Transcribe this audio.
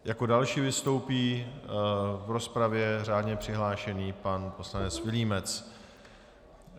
Jako další vystoupí v rozpravě řádně přihlášený pan poslanec Vilímec.